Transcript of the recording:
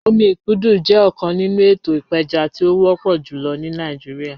Omi ikudu jẹ ọkan ninu eto ipeja ti o wọpọ julọ ni Nigeria